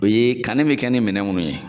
O ye kanni bɛ kɛ ni minɛn minnu ye.